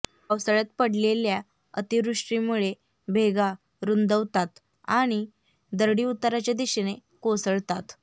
पावसाळ्यात पडलेल्या अतिवृष्टीमुळे भेगा रुंदावतात आणि दरडी उताराच्या दिशेने कोसळतात